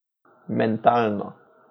Mentalno.